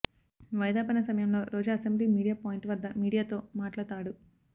వాయిదా పడిన సమయంలో రోజా అసెంబ్లీ మీడియా పాయింట్ వద్ద మీడియాతో మాట్లతాడు